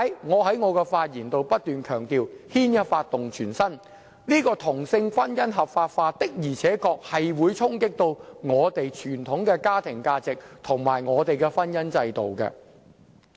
因此，我在發言中不斷強調，牽一髮而動全身，同性婚姻合法化的而且確會衝擊我們的傳統家庭價值和婚姻制度。